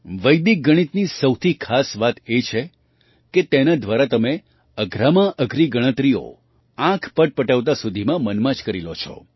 વૈદિક ગણિતની સૌથી ખાસ વાત એ છે કે તેના દ્વારા તમે અઘરામાં અઘરી ગણતરીઓ આંખ પટપટાવતા સુધીમાં મનમાં જ કરી લો છો